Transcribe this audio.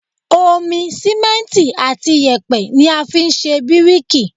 Omi, Símẹ́ǹtì àti yèpẹ̀ ni a fi ń ṣe bíríkì.